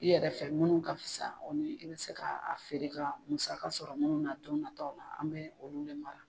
I yɛrɛ fɛ munnu ka fisa o ni i bɛ se ka a feere ka musaka sɔrɔ munnu na don natɔw la an bɛ olu de mara.